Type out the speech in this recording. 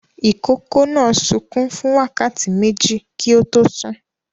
Ìkókó náà sunkún fún wákàtí méjì kí ó tó sùn.